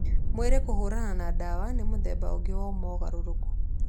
Mwĩrĩ kũhũrana na ndawa nĩ mũthemba ũngĩ wa mogarũrũku.